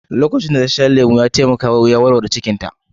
Lokacin da ta sha lemu, ya taimaka ta yin kashi da sauƙi